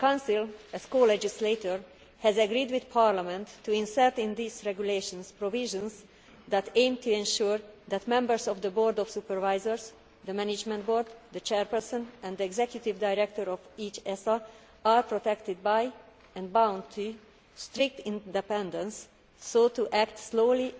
Well, the Council, as co legislator, has agreed with Parliament to insert in these regulations provisions that aim to ensure that members of the board of supervisors the management board the chairperson and the executive director of each ESA are protected by, and bound to, strict independence so as to act solely